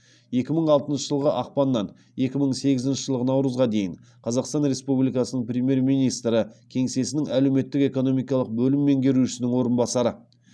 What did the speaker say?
екі мың алтыншы жылғы ақпаннан екі мың сегізінші жылғы наурызға дейін қазақстан республикасының премьер министрі кеңсесінің әлеуметтік экономикалық бөлім меңгерушісінің орынбасары